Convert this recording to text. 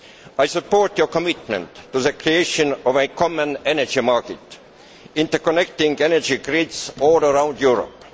I support your commitment to the creation of a common energy market, interconnecting energy grids all around Europe.